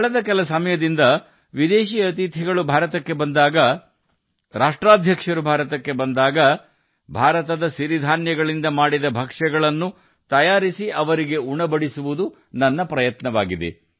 ಕಳೆದ ಕೆಲವು ಸಮಯದಿಂದ ಯಾವುದೇ ವಿದೇಶಿ ಅತಿಥಿಗಳು ಭಾರತಕ್ಕೆ ಬಂದಾಗ ರಾಷ್ಟ್ರಗಳ ಮುಖ್ಯಸ್ಥರು ಭಾರತಕ್ಕೆ ಬಂದಾಗ ಔತಣಕೂಟಗಳಲ್ಲಿ ಭಾರತದ ರಾಗಿಯಿಂದ ಮಾಡಿದ ಭಕ್ಷ್ಯಗಳನ್ನು ಅಂದರೆ ನಮ್ಮ ಸಿರಿ ಧಾನ್ಯಗಳ ಪದಾರ್ಥಗಳನ್ನು ನೀಡುವುದು ನನ್ನ ಪ್ರಯತ್ನವಾಗಿದೆ